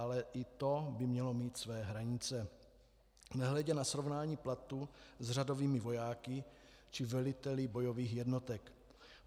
Ale i to by mělo mít své hranice, nehledě na srovnání platů s řadovými vojáky či veliteli bojových jednotek.